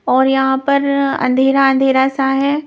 और यहां पर अंधेरा अंधेरा सा है.